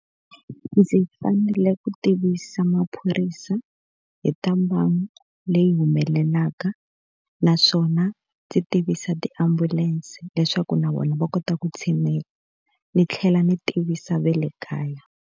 Ndzi fanele ku tivisa maphorisa hi ta mhangu leyi humelelaka, naswona ndzi tivisa tiambulense leswaku na vona va kota ku tshinela. Ni tlhela mi tivisa ve le kaya.